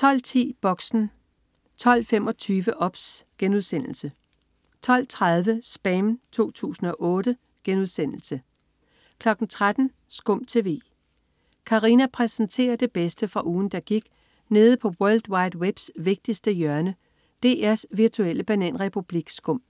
12.10 Boxen 12.25 OBS* 12.30 SPAM 2008* 13.00 SKUM TV. Katarina præsenterer det bedste fra ugen, der gik nede på world wide webs vigtigste hjørne, DR's virtuelle bananrepublik SKUM